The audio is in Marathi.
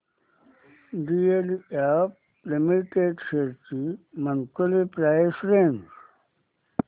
डीएलएफ लिमिटेड शेअर्स ची मंथली प्राइस रेंज